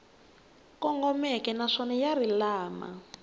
kongomeke naswona ya ri lama